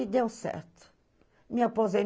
E deu certo.